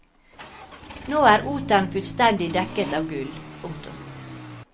Nå er oteren fullstendig dekket av gull. punktum